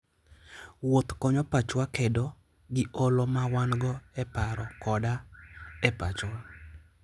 Wuoth konyo pachwa kedo gi olo ma wan-go e paro koda e pachwa.